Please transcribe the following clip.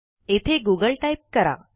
येथे Google type करा